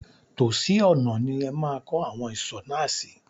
Tòsí ọ̀nà ni ẹ máa kọ́ awon ìsò náà sí.